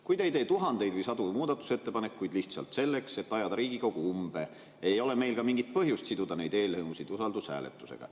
Kui te ei tee tuhandeid või sadu muudatusettepanekuid lihtsalt selleks, et ajada Riigikogu umbe, ei ole meil ka mingit põhjust siduda neid eelnõusid usaldushääletusega.